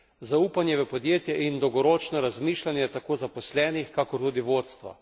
Zaupanje v podjetje in dolgoročno razmišljanje tako zaposlenih kakor tudi vodstva.